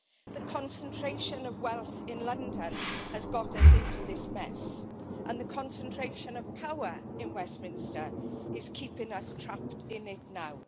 The concentration of wealth in London has got us into this mess and the concentration of power in Westminster is keeping us trapped in it now.